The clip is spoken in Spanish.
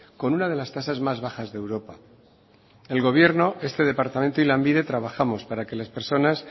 con una de las tasas más bajas de europa el gobierno este departamento y lanbide trabajamos para que las personas